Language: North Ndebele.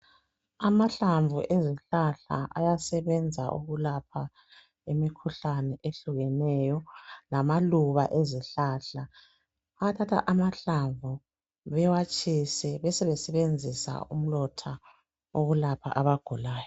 Amahlamvu ezihlahla ayasebenza ukulapha imikhuhlane ehlukeneyo lamaluba ezihlahla. Bayathatha amahlamvu bewatshise besebesebenzisa umlotha ukulapha abagulayo.